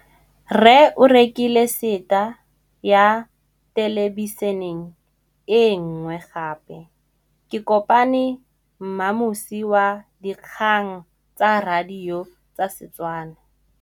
Rre o rekile sete ya thêlêbišênê e nngwe gape. Ke kopane mmuisi w dikgang tsa radio tsa Setswana.